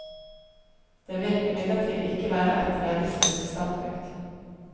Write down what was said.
Det vil imidlertid ikke være et realistisk standpunkt.